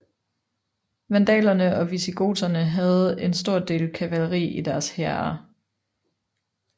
Vandalerne og visigoterne havde en stor del kavaleri i deres hære